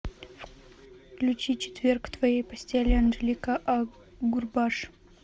включи четверг в твоей постели анжелика агурбаш